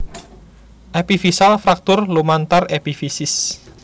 Epifisial fraktur lumantar epifisis